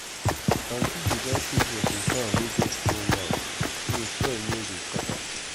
aunty dey like use watering can wey get small mouth so soil no go scatter.